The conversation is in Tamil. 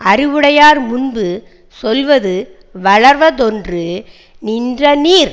அறிவுடையார்முன்பு சொல்வது வளர்வதொன்று நின்ற நீர்